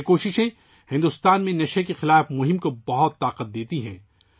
ان کوششوں سے بھارت میں منشیات کے خلاف مہم کو کافی تقویت ملتی ہے